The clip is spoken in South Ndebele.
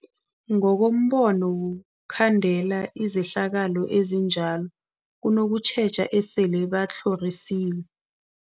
Ngokombono wokhandela izehlakalo ezinjalo kunokutjheja esele batlhorisiwe.